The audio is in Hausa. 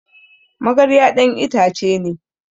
magarya dan ita ce ne